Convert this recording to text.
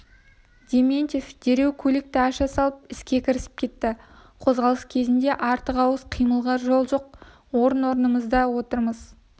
дементьев дереу көлікті аша салып іске кірісіп кетті қозғалыс кезінде артық-ауыс қимылға жол жоқ орын-орнымызда отырмыз